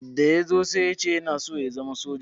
Da ya zo sai ya ce yana so ya zama soja.